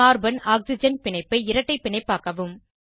carbon oxygen பிணைப்பை இரட்டை பிணைப்பாக்கவும்